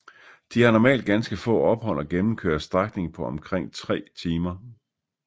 De har normalt ganske få ophold og gennemkører strækningen på omkring tre timer